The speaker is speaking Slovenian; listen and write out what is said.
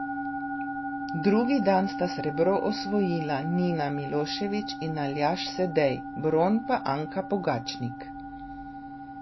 Drugi dan sta srebro osvojila Nina Milošević in Aljaž Sedej, bron pa Anka Pogačnik.